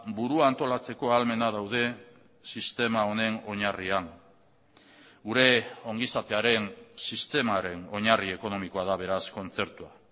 burua antolatzeko ahalmena daude sistema honen oinarrian gure ongizatearen sistemaren oinarri ekonomikoa da beraz kontzertua